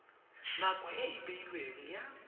nako e e beilweng ya